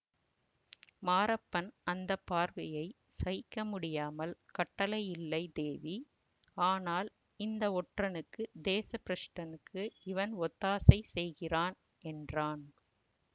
மாரப்பன் அந்த பார்வையை சகிக்க முடியாமல் கட்டளையில்லை தேவி ஆனால் இந்த ஒற்றனுக்கு தேச பிரஷ்டனுக்கு இவன் ஒத்தாசை செய்கிறான் என்றான்